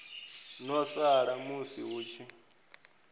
ḓo sala musi hu tshi